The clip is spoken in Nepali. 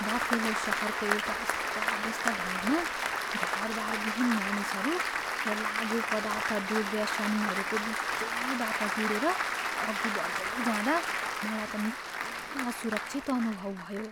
बफेलो सहरको एउटा अस्तव्यस्त भागमा घरबारविहीन मानिसहरू र लागुपदार्थ दुर्व्यसनीहरूको बिचैबाट गुडेर अघि बढ्दै जाँदा मलाई त निकै असुरक्षित अनुभव भयो।